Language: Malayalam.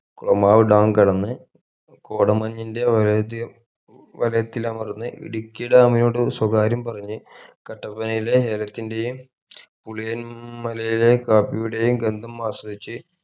കോമാവ് dam കടന്ന് കോടമഞ്ഞിന്റെ വലയതിം വലയത്തിൽ അമർന്ന് ഇടുക്കി dam നോട് സ്വകാര്യം പറഞ്ഞ് കട്ടപ്പനയിലെ ഏലത്തിന്റെയും പുലിയൻ മലയിലെ കാപ്പിയുടെയും ഗന്ധം ആസ്വദിച്ച്